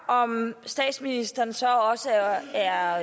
om statsministeren så også er er